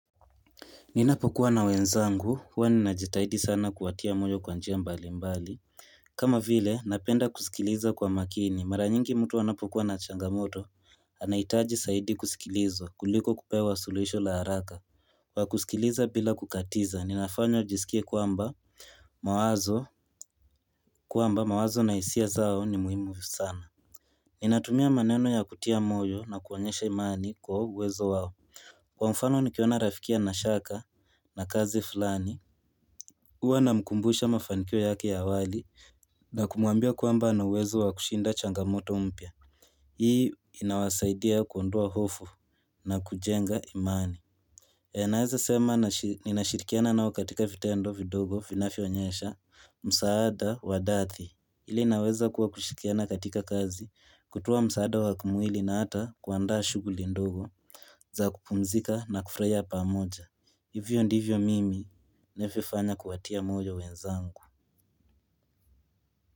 Ninapokuwa na wenzangu, huwa ninajitahidi sana kuwatia moyo kwa njia mbali mbali. Kama vile, napenda kusikiliza kwa makini. Mara nyingi mtu anapokuwa na changamoto. Anaitaji saidi kusikilizwa, kuliko kupewa suluhisho la haraka. Kwa kusikiliza bila kukatiza, ninafanya jisikie kuamba mawazo kuamba mawazo na hisia zao ni muhimu sana. Ninatumia maneno ya kutia moyo na kuonyesha imani kwa uwezo wao. Kwa mfano nikiona rafiki ana shaka na kazi fulani, uwa na mkumbusha mafanikio yake ya awali na kumuambia kwamba na uwezo wa kushinda changamoto umpia. Hii inawasaidia kuondoa hofu na kujenga imani. E naweza sema ni nashirikiana nao katika vitendo vidogo vinavyonyesha, msaada wadathi. Hili naweza kuwa kushikiana katika kazi, kutoa msaada wa kumwili na ata kuanda shuguli ndogo za kupumzika na kufraya pamoja. Hivyo ndivyo mimi navyofanya kuwatia moyo wenzangu.